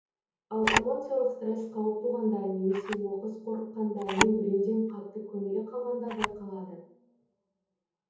ал эмоциялық стресс қауып туғанда немесе оқыс қорыққанда не біреуден қатты көңілі қалғанда байқалады